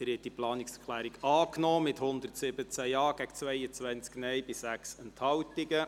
Sie haben die Planungserklärung 7 angenommen mit 117 Ja- gegen 22 Nein-Stimmen und 6 Enthaltungen.